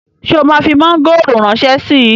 Ṣé o máa fi mọ́ngòrò ránṣẹ́ síi?